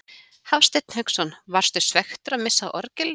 Hafsteinn Hauksson: Varstu svekktur að missa af orgelinu?